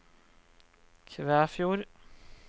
Kvæfjord